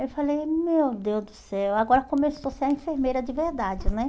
Eu falei, meu Deus do céu, agora começou a ser a enfermeira de verdade, né?